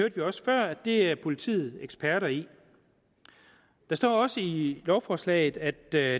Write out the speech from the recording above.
det er politiet eksperter i der står også i lovforslaget at der